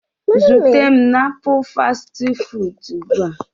Zute m na ngalaba njikwa ugbu a!